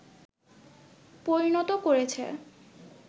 পরিণত করেছে